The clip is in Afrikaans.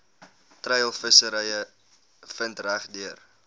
treilvissery vind regdeur